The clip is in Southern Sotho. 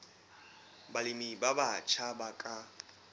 balemi ba batjha ba ka